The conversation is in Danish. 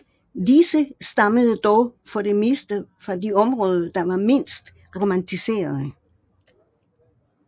Disse stammede dog for det meste fra de områder der var mindst romaniserede